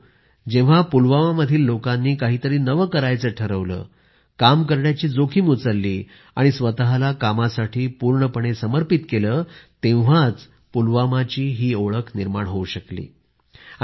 मित्रांनो जेव्हा पुलवामा मधील लोकांनी काहीतरी नवे करायचे ठरवले काम करण्याची जोखीम उचलली आणि स्वतःला कामासाठी पूर्णपणे समर्पित केले तेव्हाच पूलवामाची ही ओळख निर्माण होऊ शकली